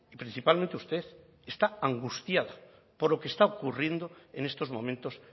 principalmente usted está angustia por lo que está ocurriendo en estos momentos